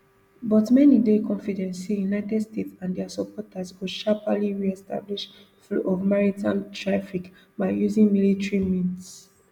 but many dey confident say united states and dia supporters go sharply reestablish flow of maritime traffic by using military means